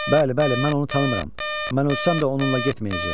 Bəli, bəli, mən onu tanımıram, mən ölsəm də onunla getməyəcəyəm.